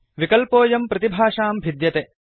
विकल्पोऽयं प्रतिभाषां भिद्यते